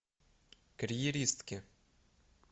карьеристки